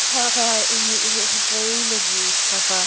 ха-ха и и твоё имя гей ха-ха